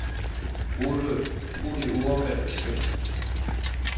Brug det ordvalg, du vil.